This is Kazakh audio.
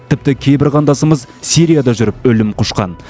тіпті кейбір қандасымыз сирияда жүріп өлім құшқан